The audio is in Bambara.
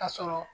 Ka sɔrɔ